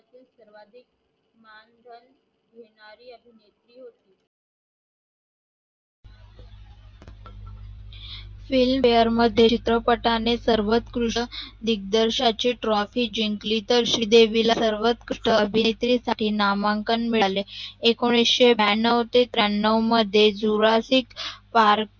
Filmfare चित्रपटाने सर्वोउत्कृष्ट दीगदर्शांची Trophy जिंकली तर श्रीदेवीला सर्वोउत्कृष्ट अभिनेत्री साठी नामांकन मिळाले एकोणविशे ब्यानेव ते त्र्यांनेव मध्ये ज्युरासीक पार्क